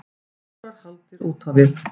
Fjórar hagldir úr við.